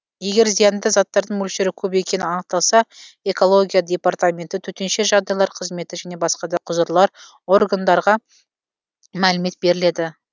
егер зиянды заттардың мөлшері көп екені анықталса экология департаменті төтенше жағдайлар қызметі және басқа да құзырлы орындарға мәлімет беріледі